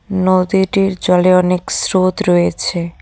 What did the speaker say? নদীটির জলে অনেক স্রোত রয়েছে।